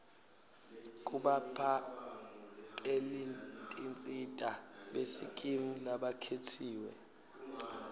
kubaphakelitinsita besikimu labakhetsiwe